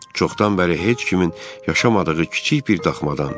Çoxdan bəri heç kimin yaşamadığı kiçik bir daxmadan.